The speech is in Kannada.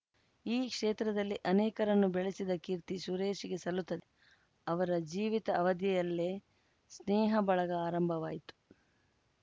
ಈ ಕ್ಷೇತ್ರದಲ್ಲಿ ಅನೇಕರನ್ನು ಬೆಳೆಸಿದ ಕೀರ್ತಿ ಸುರೇಶ್‌ಗೆ ಸಲ್ಲುತ್ತದೆ ಅವರ ಜೀವಿತ ಅವಧಿಯಲ್ಲೆ ಸ್ನೇಹ ಬಳಗ ಆರಂಭವಾಯ್ತ